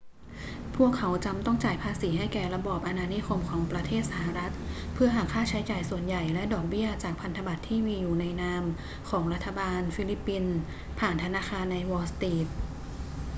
พวกเขาจำต้องจ่ายภาษีให้แก่ระบอบอาณานิคมของประเทศสหรัฐเพื่อหักค่าใช้จ่ายส่วนใหญ่และดอกเบี้ยจากพันธบัตรที่อยู่ในนามของรัฐบาลฟิลิปปินส์ผ่านธนาคารในวอลล์สตรีท